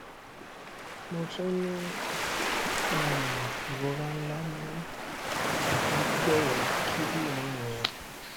mo tun n ni um irora nla ni agbegbe kidinrin mi